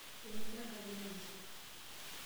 ekincho enkei enashe